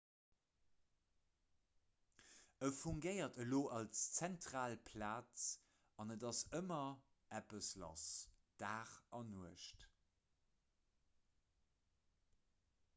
e fungéiert elo als zentral plaz an et ass ëmmer eppes lass dag an nuecht